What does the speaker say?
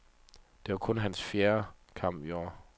Det var kun hans fjerde kamp i år.